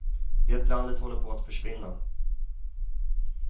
Det landet håller på att försvinna.